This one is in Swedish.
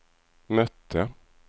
mötte